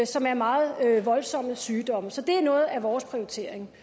som er meget voldsomme sygdomme så det er noget af vores prioritering